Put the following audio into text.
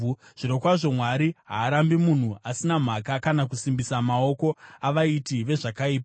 “Zvirokwazvo Mwari haarambi munhu asina mhaka uye haasimbisi maoko avaiti vezvakaipa.